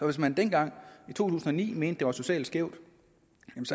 hvis man dengang i to tusind og ni mente var socialt skæv